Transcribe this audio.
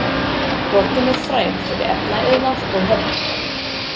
Borgin er fræg fyrir efnaiðnað og höfn.